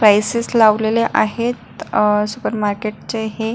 prices लावलेले आहेत अह सुपरमार्केट चे हे--